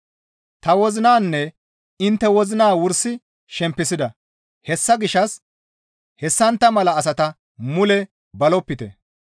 Ta wozinanne intte wozina wursi shempisida; hessa gishshas hessantta mala asata mule balopite.